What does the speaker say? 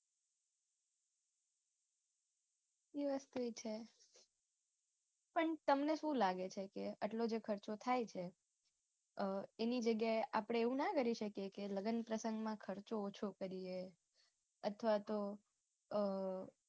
એ વસ્તુય છે પણ તમને શું લાગે છે કે આટલો જે ખર્ચો થાય છે એની જગ્યાએ આપડે એવું ના કરી શકીએ કે લગ્ન પ્રસંગમાં ખર્ચો ઓછો કરીએ અથવા તો